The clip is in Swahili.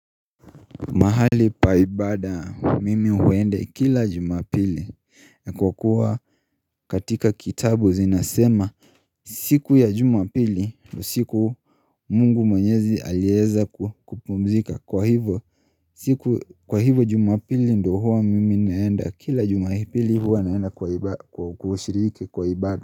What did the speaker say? Mahali pa ibada, mimi huende kila Jumapili kwa kuwa katika kitabu zinasema. Siku ya jumapili, ni siku mungu mwenyezi alieza ku kupumzika Kwa hivo, siku kwa hivo jumapili ndo huwa mimi naenda Kila jumapili huwa naenda kwa iba kushiriki kwa ibada.